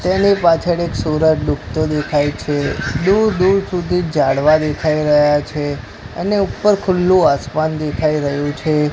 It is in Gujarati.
તેની પાછળ એક સૂરજ ડૂબતો દેખાય છે દૂર દૂર સુધી ઝાડવા દેખાય રહ્યા છે અને ઉપર ખુલ્લુ આસમાન દેખાય રહ્યુ છે.